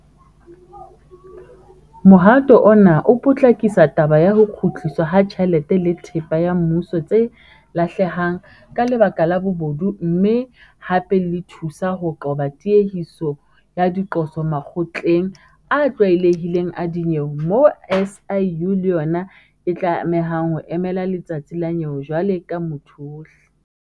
Mohato ona o potlakisa taba ya ho kgutliswa ha tjhelete le thepa ya mmuso tse lahlehang ka lebaka la bobodu mme hape le thusa ho qoba tiehiso ya diqoso makgotleng a tlwaelehileng a dinyewe moo SIU le yona e tlamehang ho emela letsatsi la nyewe jwalo ka motho ohle.